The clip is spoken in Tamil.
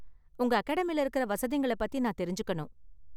உங்க அகாடமில இருக்குற வசதிங்கள பத்தி நான் தெரிஞ்சுக்கணும்.